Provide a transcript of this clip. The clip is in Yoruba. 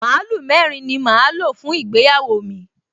Màlúù mẹ́rin ni màá lò fún ìgbéyàwó mi